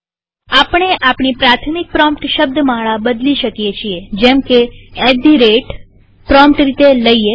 આપણે આપણી પ્રાથમિક પ્રોમ્પ્ટ શબ્દમાળા બદલી શકીએ છીએ જેમકે એટ ધી રેટltgt પ્રોમ્પ્ટ રીતે લઈએ